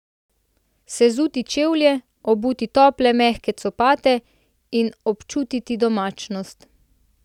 Sezuti čevlje, obuti tople, mehke copate in občutiti domačnost.